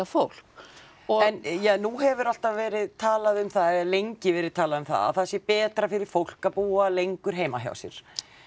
fólk en ja nú hefur alltaf verið talað um það eða hefur lengi verið talað um það að það sé betra fyrir fólk að búa lengur heima hjá sér